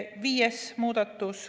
Viies muudatus.